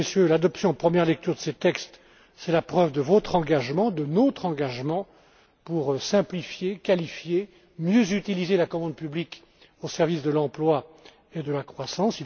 L'adoption en première lecture de ces textes est la preuve de votre engagement, de notre engagement, pour simplifier, qualifier, mieux utiliser la commande publique au service de l'emploi et de la croissance.